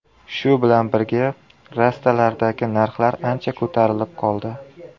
Shu bilan birga, rastalardagi narxlar ancha ko‘tarilib qoldi.